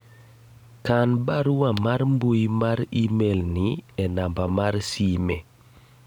kan barua mar mbui mar email ni e namba mar sime